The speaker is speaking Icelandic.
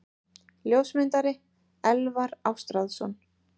Ljósmyndari: Elvar Ástráðsson.